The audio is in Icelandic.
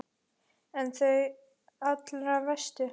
En þau allra verstu?